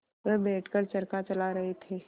वह बैठ कर चरखा चला रहे थे